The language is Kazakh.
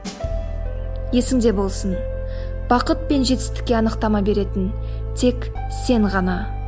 есіңде болсын бақыт пен жетістікке анықтама беретін тек сен ғана